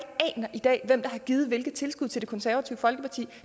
i dag der har givet hvilke tilskud til det konservative folkeparti